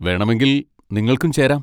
വേണമെങ്കിൽ നിങ്ങൾക്കും ചേരാം.